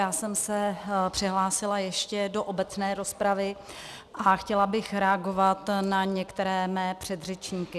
Já jsem se přihlásila ještě do obecné rozpravy a chtěla bych reagovat na některé mé předřečníky.